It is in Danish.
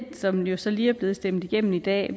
som jo så lige er blevet stemt igennem i dag